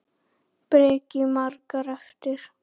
Breki: Margar eftir?